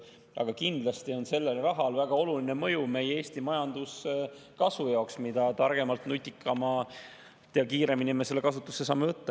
Aga kindlasti on sellel rahal väga oluline mõju Eesti majanduskasvule, mida targemalt, nutikamalt ja kiiremini me selle kasutusse saame võtta.